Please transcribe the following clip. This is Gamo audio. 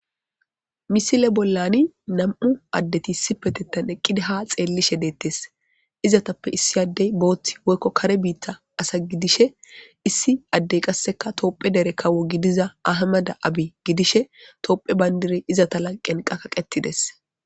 misile bollani nam7u addeti sipetittan eqqida ha xeellishe deettes izatappe issi addey booththi woykko kare biitta asa gidishe issi addey qasseka toophe dere kawo gidiza ahamada abi gidishe toophe bayndire izata lanqen qaqaqetides